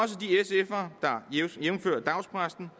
jævnfør dagspressen